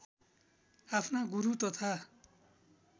आफ्ना गुरू तथा